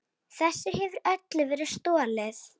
Þessu hefur öllu verið stolið!